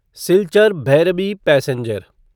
Silchar Bhairabi passenger